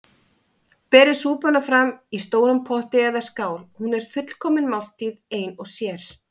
Berið súpuna fram í stórum potti eða skál- hún er fullkomin máltíð ein og sér.